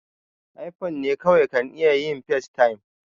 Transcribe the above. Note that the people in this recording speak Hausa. iphone ne kawai kan iya yin facetime